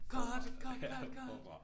Cut cut cut cut!